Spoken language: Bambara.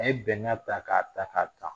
A ye bɛnkan ta k'a ta k'a ta